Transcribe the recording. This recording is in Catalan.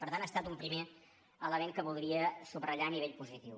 per tant ha estat un primer element que voldria subratllar a nivell positiu